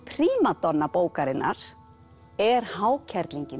prímadonna bókarinnar er